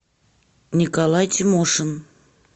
николай тимошин